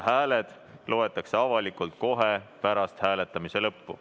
Hääled loetakse avalikult kohe pärast hääletamise lõppu.